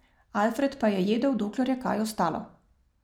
Alfred pa je jedel, dokler je kaj ostalo.